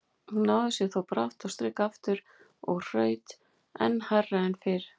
Hún náði sér þó brátt á strik aftur og hraut enn hærra en fyrr.